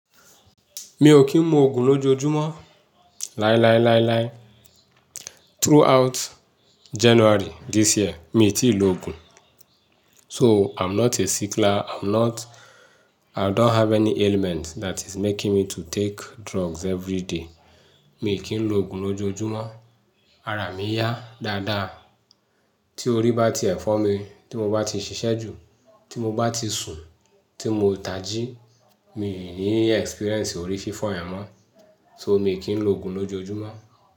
Mi ò kí ń mu òògùn lójoojúmọ́. Láíláíláíláí, throughout January this year, mi ò tí ì lo òògùn. So I'm not a sickler, I'm not-- I don't have any ailment that is making me to take drugs every day. Mi ki n lo ogun loojojumo. Ara mi yá dáadáa. Tí orí bá ti ẹ̀fọ́ mi, tí mo bá ti ṣiṣẹ́ jù, tí mo bá ti sùn, tí mo ò taji, mi ò ní experience orí fífọ́ ẹ̀ mọ́. So mi ò kí ń lo òògùn lójoojúmọ́.